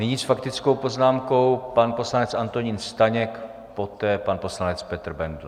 Nyní s faktickou poznámkou pan poslanec Antonín Staněk, poté pan poslanec Petr Bendl.